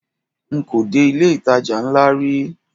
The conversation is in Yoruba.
Nko dé ilé ìtajà ńlá rí.